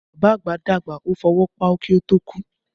Bàbá àgbà dàgbà, ó fọwọ́ páú kí ó tó kú